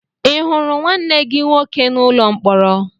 Ị hụrụ nwanne gị nwoke n'ụlọ mkpọrọ?